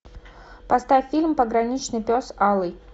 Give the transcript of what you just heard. поставь фильм пограничный пес алый